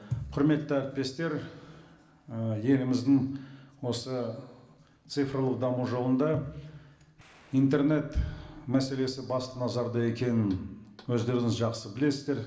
құрметті әріптестер ііі еліміздің осы цифрлық даму жолында интернет мәселесі басты назарда екенін өздеріңіз жақсы білесіздер